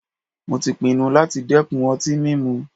Mó tí pinnu láti dẹ́kun ọtí mímu.